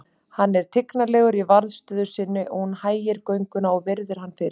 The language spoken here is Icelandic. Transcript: Hann er tignarlegur í varðstöðu sinni og hún hægir gönguna og virðir hann fyrir sér.